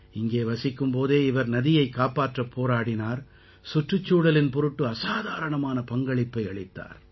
இங்கே வசிக்கும் போதே இவர் நதியைக் காப்பாற்றப் போராடினார் சுற்றுச் சூழலின் பொருட்டு அசாதாரணமான பங்களிப்பை அளித்தார்